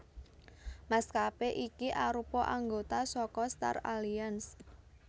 Maskapé iki arupa anggota saka Star Alliance